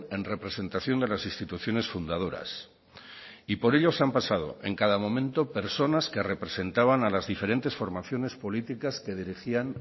en representación de las instituciones fundadoras y por ello se han pasado en cada momento personas que representaban a las diferentes formaciones políticas que dirigían